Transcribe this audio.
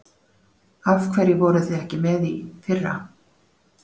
Af hverju voruð þið ekki með í fyrra?